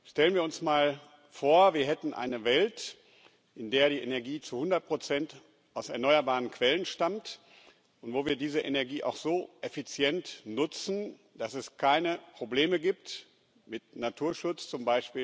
Stellen wir uns mal vor, wir hätten eine Welt, in der die Energie zu 100 aus erneuerbaren Quellen stammt und wir diese Energie auch so effizient nutzen, dass es keine Probleme mit dem Naturschutz z.